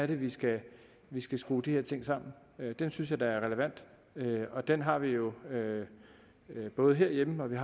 vi skal skrue de her ting sammen den synes jeg da er relevant og den har vi jo både herhjemme